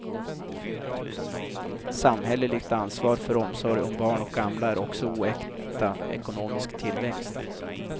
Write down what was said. Samhälleligt ansvar för omsorg om barn och gamla är också oäkta ekonomisk tillväxt.